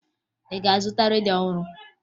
Ị ga-azụta redio ọhụrụ?